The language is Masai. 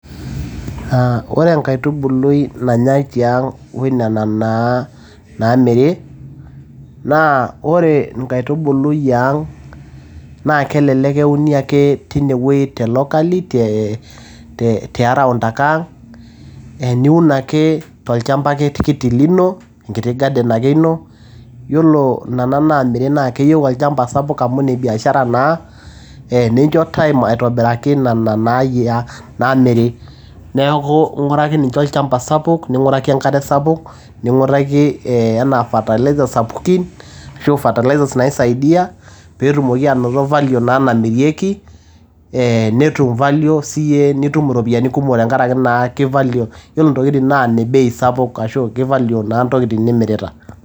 Ore enkaitubului nanyai tiang oinena naa naamiri, naa ore nkaitubulu iang naa kelelek euni ake teine wueji te locally te te around ake ang niun ake tolchamba ake kiti lino enkiti garden ake ino. Yiolo nena naamiri naa keyieu olchamba sapuk amu in biashara naa. Nincho time aitobiraki nena naamiri. Niaku ing`uraki ninche olchmpa sapuk ning`uraki enkare sapuk, ning`uraki ee enaa fertilizer sapukin ashu fertilizer naisaidia pee etumoki aanonoto value naa naamirieki, eeh netum value siiyie nitum irropiyiani kumok tenkaraki naa ki value yiolo ntokitin naa nne bei sapuk ashu ki value naa ntokiin nimirita.